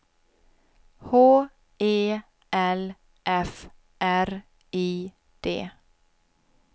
H E L F R I D